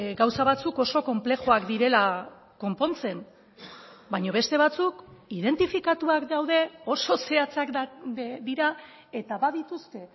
gauza batzuk oso konplexuak direla konpontzen baina beste batzuk identifikatuak daude oso zehatzak dira eta badituzte